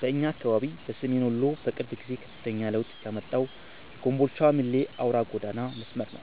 በእኛ አካባቢ በሰሜን ወሎ በቅርብ ጊዜ ከፍተኛ ለውጥ ያመጣው የኮምቦልቻ - ሚሌ አውራ ጎዳና መስመር ነው።